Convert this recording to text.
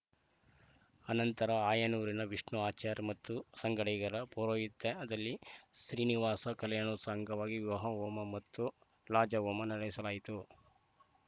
ಅನಂತರ ಆಯನೂರಿನ ವಿಷ್ಣು ಆಚಾರ್‌ ಮತ್ತು ಸಂಗಡಿಗರ ಪೌರೋಹಿತ್ಯದಲ್ಲಿ ಶ್ರೀನಿವಾಸ ಕಲ್ಯಾಣೋತ್ಸವ ಅಂಗವಾಗಿ ವಿವಾಹ ಹೋಮ ಮತ್ತು ಲಾಜಹೋಮ ನಡೆಸಲಾಯಿತು